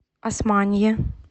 османие